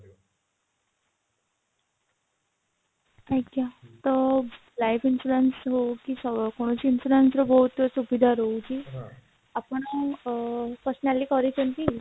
ଆଜ୍ଞା ତ life insurance ରୁ କି କୌଣସି insurance ର ବହୁତ ସୁବିଧା ରହୁଛି ଆପଣ ଅ personally କରୁଛନ୍ତି